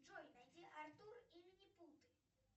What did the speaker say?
джой найди артур и минипуты